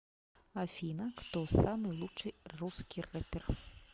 афина кто самый лучший русский рэпер